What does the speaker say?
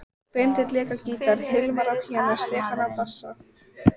Benedikt lék á gítar, Hilmar á píanó, Stefán á bassa.